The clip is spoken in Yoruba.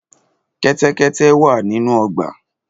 Kẹ́tẹ́kẹ́tẹ́ wà nínú ọgbà.